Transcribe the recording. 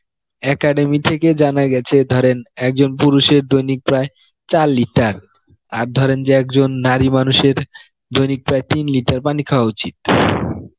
academy থেকে জানা গেছে ধরেন একজন পুরুষের দৈনিক প্রায় চার liter আর ধরেন যে একজন নারী মানুষের দৈনিক প্রায় তিন liter পানি খাওয়া উচিত